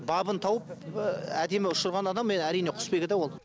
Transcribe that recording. бабын тауып әдемі ұшырған адам әрине құсбегі да ол